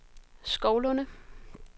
Skovlunde